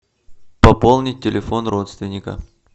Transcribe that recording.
пополнить телефон родственника